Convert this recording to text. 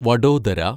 Vadodara